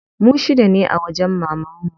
Mu shida ne a wajen mamanmu.